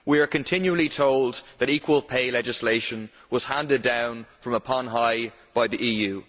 We are continually told that equal pay legislation was handed down from on high by the EU.